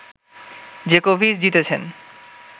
জোকোভিচ জিতেছেন